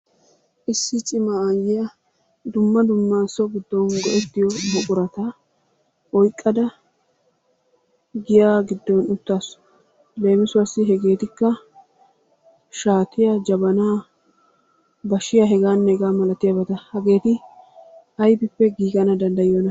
Issi cimma ayiya dumma dumma so giddon go'ettiyo buqurata oyqqada giya giddon uttaasu, leemissuwaassi hegeetikka shaatiya, jabanaa, bashiya heganne hega milatiyaabata hageeti sybippe giggana danddayiyona?